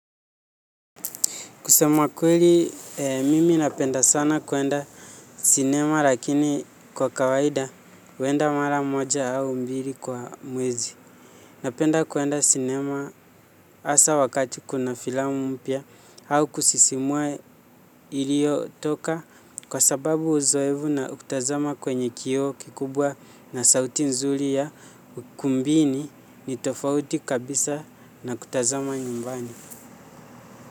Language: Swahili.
Kusema kweli mimi napenda sana kuenda sinema lakini kwa kawaida huenda mara moja au mbili kwa mwezi. Napenda kuenda sinema hasa wakati kuna filamu mpya au kusisimua iliyo toka kwa sababu uzoefu na kutazama kwenye kioo kikubwa na sauti nzuri ya ukumbini ni tofauti kabisa na kutazama nyumbani.